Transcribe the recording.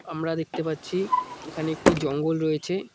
আমরা দেখতে পাচ্ছি এখানে একটি জঙ্গল রয়েছে।